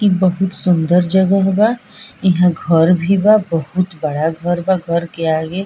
इ बहुत सुन्दर जगहा बा | यहाँ घर भी बा बहुत बड़ा घर बा घर के आगे।